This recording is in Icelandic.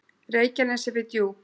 Reykjanesi við Djúp.